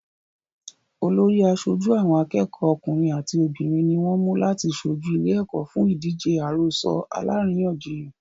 Olórí àṣojú àwọn akẹ́kọ̀ọ́ ọkùnrin àti obìnrin ní wọ́n mú láti ṣojú ìlé-ẹ̀kọ́ fún ìdíje àròsọ alárìíyànjiyàn.